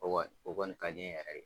O kɔni o kɔni ka di n ye yɛrɛ de.